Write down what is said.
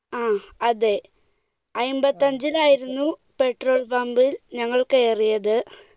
ങ്ഹാ, അതെ. അൻപത്തിയഞ്ചിലായിരുന്നു petrol pump ഞങ്ങൾ കയറിയത്,